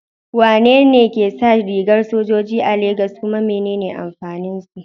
Wane ne ke sa rigar sojoji a Legas, kuma menene amfanin su?